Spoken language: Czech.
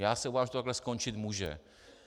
Já se obávám, že to tak skončit může.